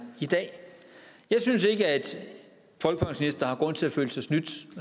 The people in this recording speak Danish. i dag jeg synes ikke folkepensionister har grund til at føle sig snydt